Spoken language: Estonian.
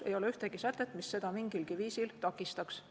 Ei ole ühtegi sätet, mis seda mingilgi viisil takistaks.